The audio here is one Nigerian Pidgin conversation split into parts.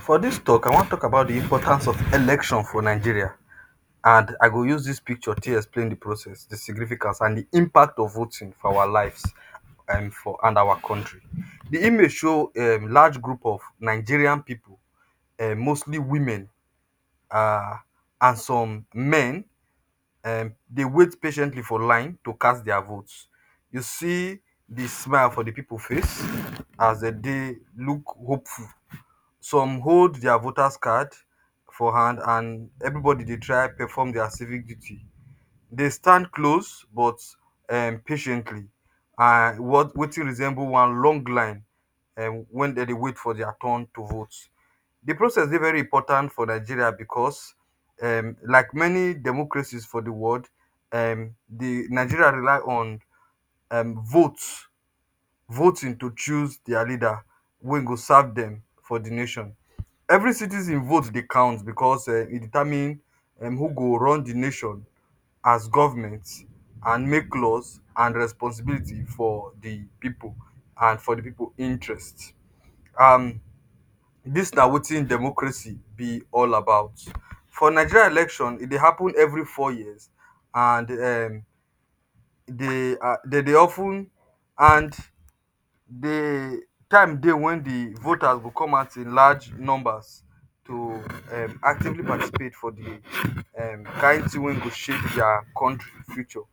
For dis tok I wan tok about di importance of election for Nigeria and I go use dis picture tae explain di process di significance and di impact of voting for our lives and for and our kontri. Di image show um large group of Nigerian pipu, um mostly women and some men, dey wait patiently for line to cast dia vote. You see di smile for di pipu face as dem dey look hopeful. Some hold dia voters card for hand and evribodi dey try perform dia civic duty. Dey stand close but um patiently and what wetin resemble one long line um wen dem dey wait for dia turn to vote. Di process dey very important for Nigeria bicos um like many democracies for di world um di Nigeria rely on um vote. Voting to choose dia leader wey go serve dem for di nation. Evri citizen vote dey count bicos um e determine um who go run di nation as govment and make laws and responsibility for di pipu and for di pipu interest. um dis na wetin democracy be all about. For Nigeria election, e dey happun evri four years, and um dey dey dey of ten and dey di time dey wen di voter go come out in large numbers to um actively participate for di um kain tin wey go shape dia kontri future.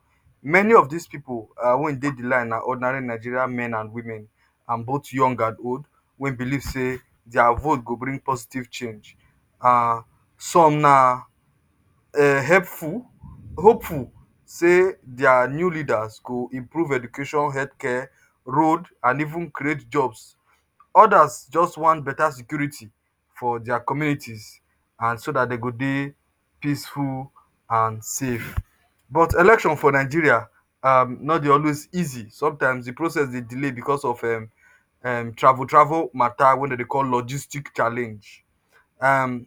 Many of dis pipu um wey dey di line na ordinary Nigerian men an women an both young and old, wey believe say dia vote go bring positive change. um Some na helpful, hopeful open say dia new leaders go improve education, healthcare, road and even create jobs. Others just wan betta security for dia communities an so dat dey go dey peaceful and safe. But election for Nigeria um no dey always easy. Sometimes di process dey delay bicos of um um travel travel matta wey dem dey call logistic challenge um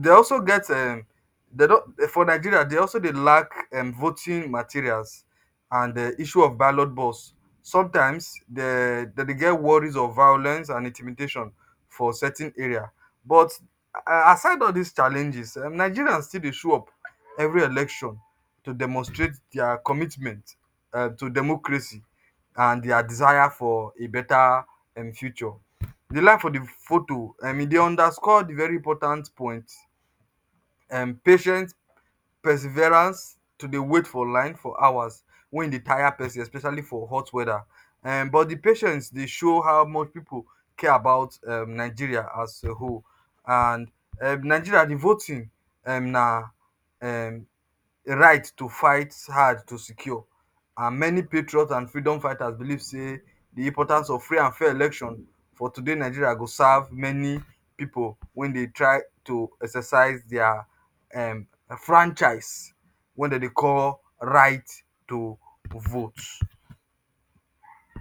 Dey also get um dey for Nigeria, dey also dey lack voting materials and um issue of ballot box. Sometimes dem dey get worries of violence and intimidation for certain area. But aside all dis challenges um Nigerians still dey show up evri election to demonstrate dia commitment um to democracy and dia desire for a betta um future. di life for di foto e dey underscore di very important point patience perserverance to dey wait for line for hours wey in dey tire pesin especially for hot weather um but di patience dey show how much people care about um nigeria as a whole and um nigeria di voting um na um a right to fight hard to secure an many patriot and freedom fighter believe say di importance of free and fair election for today Nigeria go serve many pipu wey dey try to exercise their um franchise wey dem dey call right to vote